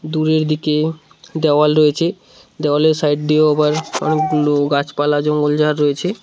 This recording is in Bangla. দূরের দিকে দেওয়াল রয়েছে দেওয়ালের সাইড দিয়েও আবার অনেকগুলো গাছপালা জঙ্গলঝাড় রয়েছে।